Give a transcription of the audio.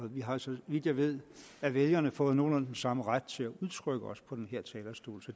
vi har så vidt jeg ved af vælgerne fået nogenlunde den samme ret til at udtrykke os på den her talerstol så